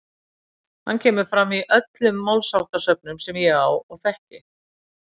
Hann kemur fram í öllum málsháttasöfnum sem ég á og þekki.